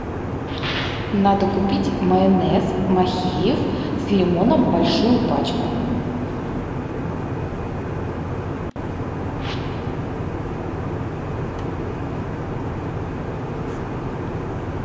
надо купить майонез махеев с лимоном большую пачку